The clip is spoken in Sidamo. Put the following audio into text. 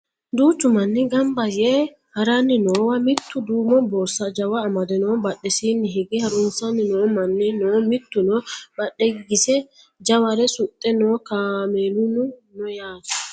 duuchu manni ganba yee haranni noowa mittu duumo borsa jawa amade no badhesiinni hige harunsanni noo manni no mittuno badheegise jaware suxxe no kameeluno no yaate